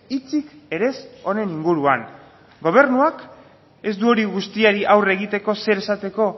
hitzik ere ez honen inguruan gobernuak ez du hori guztiari aurre egiteko zer esateko